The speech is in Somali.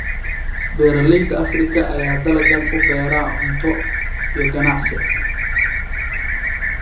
Beeralayda Afrika ayaa dalaggan u beera cunto iyo ganacsi.